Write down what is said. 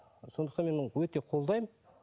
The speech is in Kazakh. сондықтан мен оны өте қолдаймын